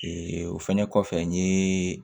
o fɛnɛ kɔfɛ n ye